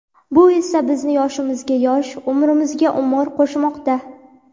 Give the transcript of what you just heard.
Bu esa bizni yoshimizga yosh, umrimizga umr qo‘shmoqda.